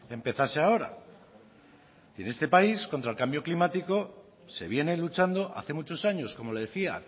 empezase ahora y en este país contra el cambio climático se viene luchando hace muchos años como le decía